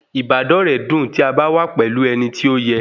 Ìbádọ́rẹ́ dùn tí a bá wà pẹ̀lú ẹni tí ó yẹ